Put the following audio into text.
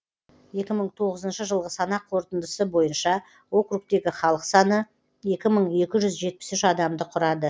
екі мың тоғызыншы жылғы санақ қорытындысы бойынша округтегі халық саны екі мың екі жүз жетпіс үш адамды құрады